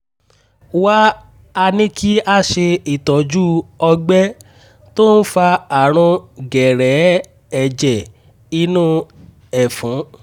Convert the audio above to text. wá a ní kí a ṣe itọju ọ̀gbẹ́ tó ń fa àrùn gẹ̀rẹ̀ẹ́ ẹ̀jẹ̀ inú ẹ̀fun